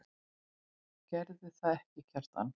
Gerðirðu það ekki, Kjartan?